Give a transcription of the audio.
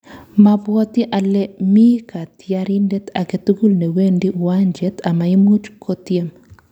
Mabwoti ale mi katyarindet age tugul ne wendi uwanjet amaimuuch kotyem